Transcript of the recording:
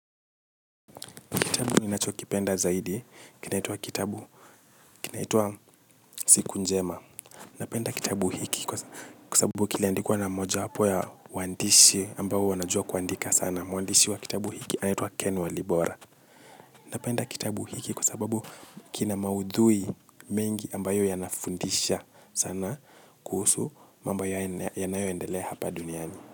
Kitabu ninachokipenda zaidi, kinaitwa kitabu, kinaitwa Siku Njema. Napenda kitabu hiki kwa sababu kiliandikwa na mojawapo ya waandishi ambao wanajua kuandika sana. Mwandishi wa kitabu hiki anaitwa Ken walibora. Napenda kitabu hiki kwa sababu kina maudhui mengi ambayo yanafundisha sana kuhusu, mambo yanayoendele hapa duniani.